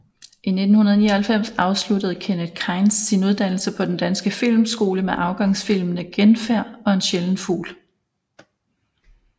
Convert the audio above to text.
I 1999 afsluttede Kenneth Kainz sin uddannelse på Den Danske Filmskole med afgangsfilmene Genfærd og En sjælden fugl